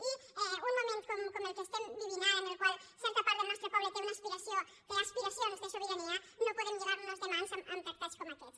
i en un moment com el que estem vivint ara en el qual certa part del nostre poble té una aspiració té aspiracions de sobirania no podem lligar nos de mans amb tractats com aquests